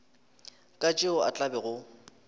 ka tšeo a tla bego